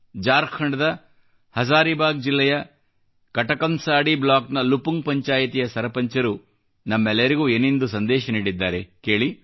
ಜಾರ್ಖಂಡ್ದ ಹಜಾರಿಬಾಗ್ ಜಿಲ್ಲೆಯ ಕಟಕಂಸಾಂಡಿ ಬ್ಲಾಕ್ನ ಲುಪುಂಗ್ ಪಂಚಾಯತಿಯ ಸರಪಂಚರು ನಮ್ಮೆಲ್ಲರಿಗೂ ಏನೆಂದು ಸಂದೇಶ ನೀಡಿದ್ದಾರೆ ಕೇಳಿ